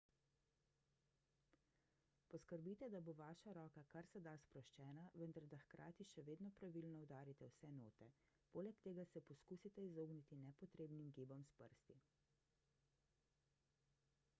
poskrbite da bo vaša roka kar se da sproščena vendar da hkrati še vedno pravilno udarite vse note – poleg tega se poskusite izogniti nepotrebnim gibom s prsti